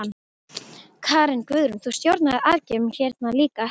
Karen: Guðrún, þú stjórnaðir aðgerðum hérna líka?